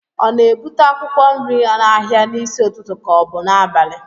a na-ebute akwụkwọ nri n'ahịa n'isi n'ụtụtụ ka ọ bụ n'abalị